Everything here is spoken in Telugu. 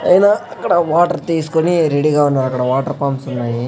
పైనా అక్కడ వాటర్ తీసుకొని రెడీ గా ఉన్నారక్కడ వాటర్ పంప్స్ ఉన్నాయి.